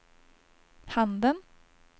handen